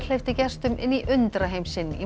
hleypti gestum inn í undraheim sinn í